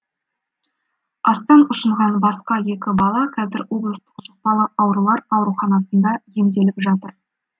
астан ұшынған басқа екі бала қазір облыстық жұқпалы аурулар ауруханасында емделіп жатыр